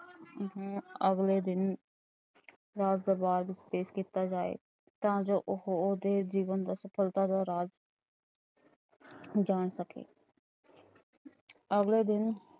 ਹਮ ਅਗਲੇ ਦਿਨ ਰਾਜ ਦਰਬਾਰ ਵਿੱਚ ਪੇਸ਼ ਕੀਤਾ ਜਾਏ। ਤਾ ਜੋ ਉਹੋ ਉਹਦੇ ਜੀਵਨ ਦੀ ਸਫ਼ਲਤਾ ਦਾ ਰਾਜ ਜਾਣ ਸਕੇ। ਅਗਲੇ ਦਿਨ